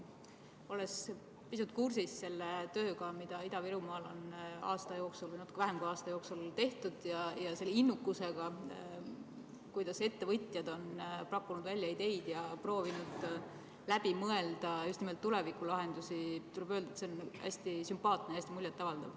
Olles pisut kursis selle tööga, mida Ida-Virumaal on aasta jooksul või natuke vähem kui aasta jooksul tehtud, ja selle innukusega, kuidas ettevõtjad on pakkunud välja ideid ja proovinud läbi mõelda just nimelt tulevikulahendusi, tuleb öelda, et see on hästi sümpaatne, hästi muljet avaldav.